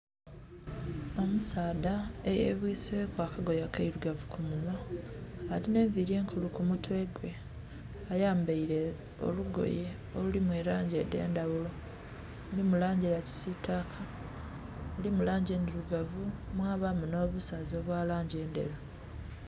Omusaadha eyebwiseku akagoye akeirugavu ku munhwa alina enviri enkulu ku mutwe gwe ayambaire olugoye olulimu langi edhendaghulo, mulimu langi eya kisitaka, mulimu langi endhirugavu mwabamu hno busaze obwa langi endheru.